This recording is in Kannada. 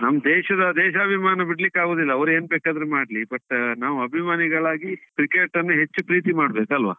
ನಮ್ಮ್ ದೇಶದ ದೇಶಾಭಿಮಾನ ಬಿಡ್ಲಿಕ್ಕೆ ಆಗುದಿಲ್ಲ, ಅವರ್ ಎಂತ ಬೇಕಿದ್ರೆ ಮಾಡ್ಲಿ but ನಾವು ಅಭಿಮಾನಿಗಳಾಗಿ cricket ಹೆಚ್ಚು ಪ್ರೀತಿ ಮಾಡ್ಬೇಕು ಅಲ್ವಾ?